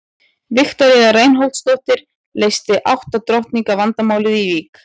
Viktoría Reinholdsdóttir leysti átta drottninga vandamálið í Vík.